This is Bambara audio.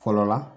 Fɔlɔ la